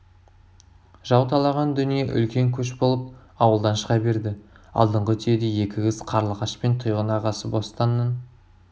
жау талаған дүние үлкен көш болып ауылдан шыға берді алдыңғы түйеде екі қыз қарлығаш пен тұйғын ағасы бостанның